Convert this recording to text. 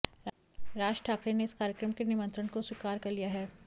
राज ठाकरे ने इस कार्यक्रम के निमंत्रण को स्वीकार कर लिया है